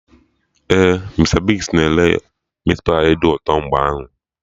Ee, Mista Bigz na ere Meatpai dị ụtọ mgbe ahụ